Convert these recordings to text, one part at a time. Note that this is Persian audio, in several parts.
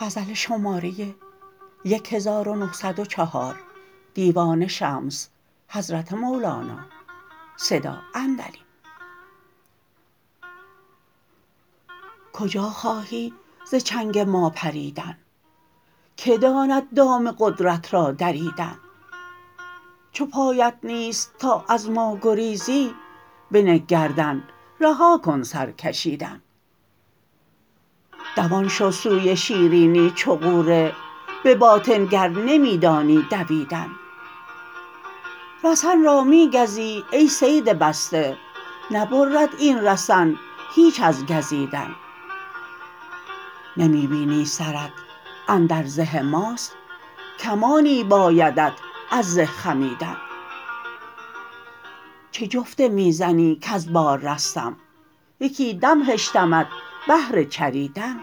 کجا خواهی ز چنگ ما پریدن کی داند دام قدرت را دریدن چو پایت نیست تا از ما گریزی بنه گردن رها کن سر کشیدن دوان شو سوی شیرینی چو غوره به باطن گر نمی دانی دویدن رسن را می گزی ای صید بسته نبرد این رسن هیچ از گزیدن نمی بینی سرت اندر زه ماست کمانی بایدت از زه خمیدن چه جفته می زنی کز بار رستم یکی دم هشتمت بهر چریدن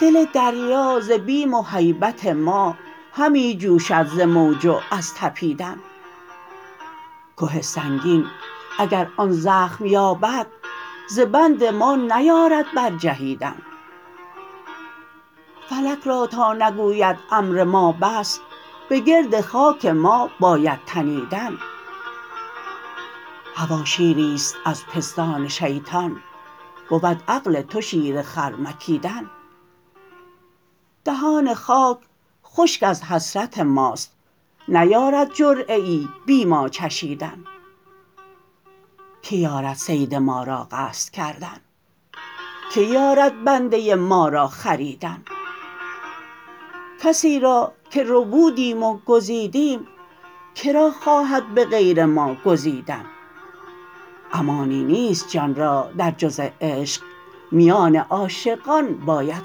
دل دریا ز بیم و هیبت ما همی جوشد ز موج و از طپیدن که سنگین اگر آن زخم یابد ز بند ما نیارد برجهیدن فلک را تا نگوید امر ما بس به گرد خاک ما باید تنیدن هوا شیری است از پستان شیطان بود عقل تو شیر خر مکیدن دهان خاک خشک از حسرت ماست نیارد جرعه ای بی ما چشیدن کی یارد صید ما را قصد کردن کی یارد بنده ما را خریدن کسی را که ربودیم و گزیدیم که را خواهد به غیر ما گزیدن امانی نیست جان را در جز عشق میان عاشقان باید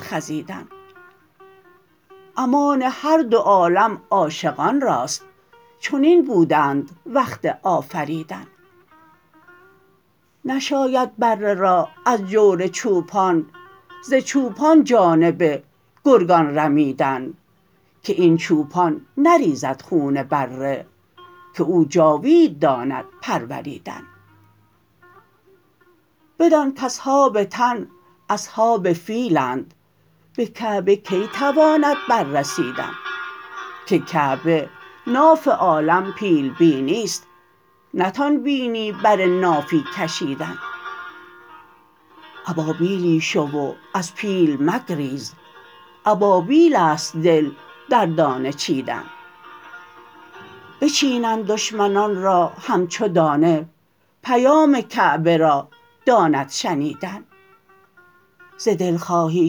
خزیدن امان هر دو عالم عاشقان راست چنین بودند وقت آفریدن نشاید بره را از جور چوپان ز چوپان جانب گرگان رمیدن که این چوپان نریزد خون بره که او جاوید داند پروریدن بدان کاصحاب تن اصحاب فیلند به کعبه کی تواند بررسیدن که کعبه ناف عالم پیل بینی است نتان بینی بر نافی کشیدن ابابیلی شو و از پیل مگریز ابابیل است دل در دانه چیدن بچینند دشمنان را همچو دانه پیام کعبه را داند شنیدن ز دل خواهی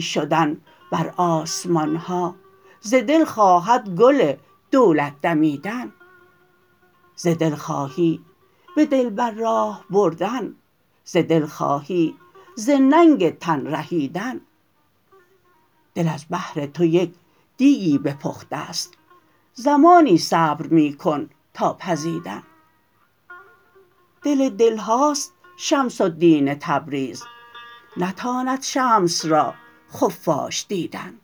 شدن بر آسمان ها ز دل خواهد گل دولت دمیدن ز دل خواهی به دلبر راه بردن ز دل خواهی ز ننگ تن رهیدن دل از بهر تو یک دیکی بپخته ست زمانی صبر می کن تا پزیدن دل دل هاست شمس الدین تبریز نتاند شمس را خفاش دیدن